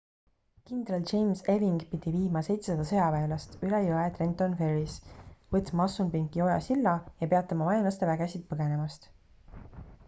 kindral james ewing pidi viima 700 sõjaväelast üle jõe trenton ferrys võtma assunpinki oja silla ja peatama vaenlaste vägesid põgenemast